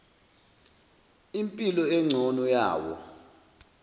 impilo engcono yawo